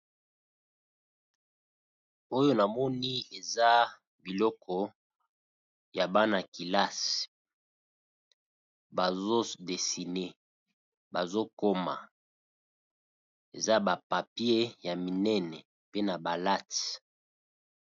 Oyo na moni eza biloko ya bana kelasi. Bazo dessiner, bazo koma , eza ba papiers ya minene pe na ba lattes